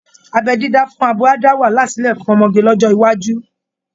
Abẹ́ dídá fún abo á dá wàhálà sílẹ̀ fún ọmọge lọ́jọ́ iwájú